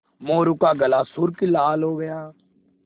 मोरू का गाल सुर्ख लाल हो गया